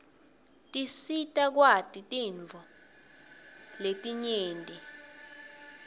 tisita kwati tintfo letinyenti